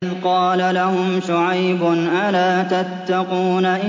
إِذْ قَالَ لَهُمْ شُعَيْبٌ أَلَا تَتَّقُونَ